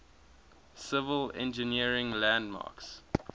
civil engineering landmarks